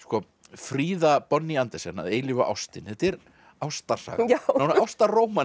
Fríða Bonnie Andersen að eilífu ástin þetta er ástarsaga